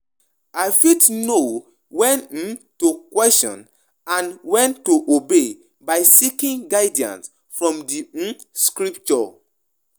I fit know when um to question and when to obey by seeking guidance from di um scripture.